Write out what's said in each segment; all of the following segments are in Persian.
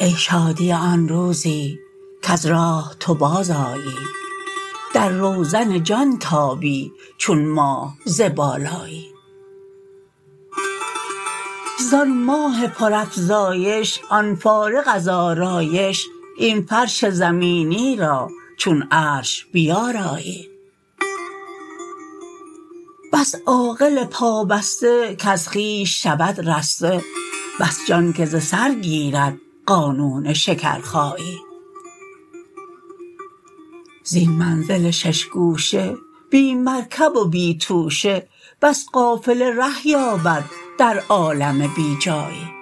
ای شادی آن روزی کز راه تو بازآیی در روزن جان تابی چون ماه ز بالایی زان ماه پرافزایش آن فارغ از آرایش این فرش زمینی را چون عرش بیارایی بس عاقل پابسته کز خویش شود رسته بس جان که ز سر گیرد قانون شکرخایی زین منزل شش گوشه بی مرکب و بی توشه بس قافله ره یابد در عالم بی جایی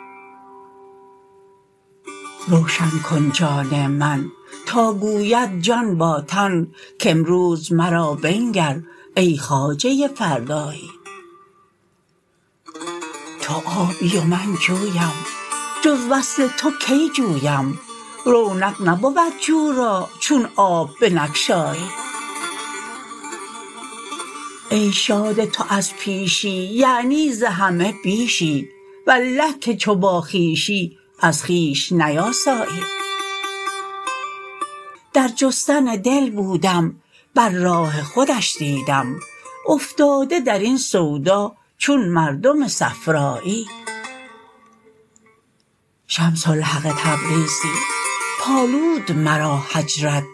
روشن کن جان من تا گوید جان با تن کامروز مرا بنگر ای خواجه فردایی تو آبی و من جویم جز وصل تو کی جویم رونق نبود جو را چون آب بنگشایی ای شاد تو از پیشی یعنی ز همه بیشی والله که چو با خویشی از خویش نیاسایی در جستن دل بودم بر راه خودش دیدم افتاده در این سودا چون مردم صفرایی شمس الحق تبریزی پالود مرا هجرت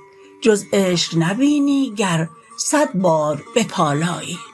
جز عشق نبینی گر صد بار بپالایی